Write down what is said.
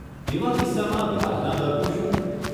એવા કિસ્સામાં, વ્યાજના દરનું શું?